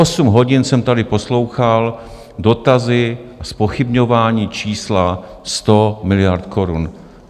Osm hodin jsem tady poslouchal dotazy a zpochybňování čísla 100 miliard korun.